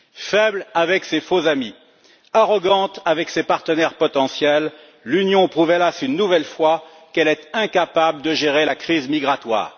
Faible avec ses faux amis, arrogante avec ses partenaires potentiels, l'Union prouve, hélas, une nouvelle fois qu'elle est incapable de gérer la crise migratoire.